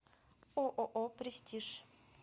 ооо престиж